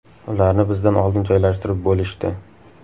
Ularni bizdan oldin joylashtirib bo‘lishdi.